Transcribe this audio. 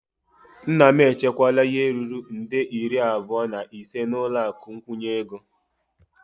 Nna m echekwala ihe ruru nde iri abụọ na ise n'ụlọ akụ nkwụnye ego.